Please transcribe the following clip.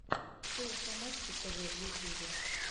шоу помадки тэвэ в ютюбе